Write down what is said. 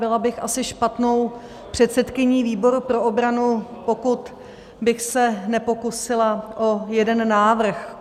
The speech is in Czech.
Byla bych asi špatnou předsedkyní výboru pro obranu, pokud bych se nepokusila o jeden návrh.